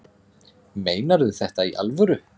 Meinarðu þetta í alvöru?